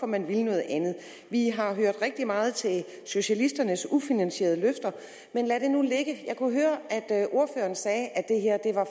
man vil noget andet vi har hørt rigtig meget til socialisternes ufinansierede løfter men lad det nu ligge jeg kunne høre at ordføreren sagde at det her